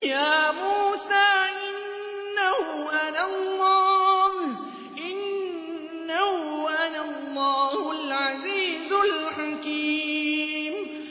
يَا مُوسَىٰ إِنَّهُ أَنَا اللَّهُ الْعَزِيزُ الْحَكِيمُ